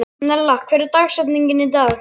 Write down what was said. Nella, hver er dagsetningin í dag?